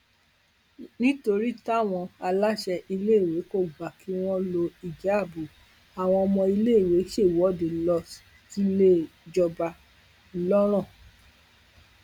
nítorí táwọn aláṣẹ iléèwé kò gbà kí wọn lo ìjáàbù àwọn ọmọ iléèwé ṣèwọde lọ síléìjọba ńlọrọn